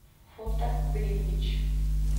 фото гринвич